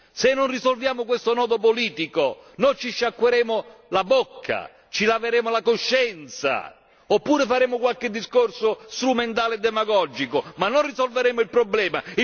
Se non risolviamo questo nodo politico noi ci sciacqueremo la bocca, ci laveremo la coscienza, oppure faremo qualche discorso strumentale e demagogico ma non risolveremo il problema.